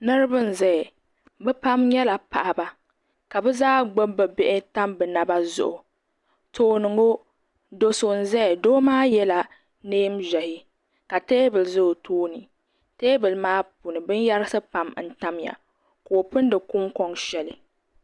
Niriba n zaya bɛ pam nyɛla paɣaba ka bɛ zaa gbibi bɛ bihi tam bɛ Naba zuɣu tooni ŋɔ do so n zaya doo maa yela niɛn'ʒehi la teebuli ʒɛ o tooni teebuli maa puuni binyerisi pam n tamya ka o pindi kunkoŋ sheli.